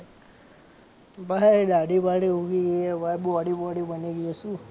ભાઈ દાઢી બાઢી ઊગી ગઈ છે ભાઈ બોડી વોડી બની ગઈ છે શું.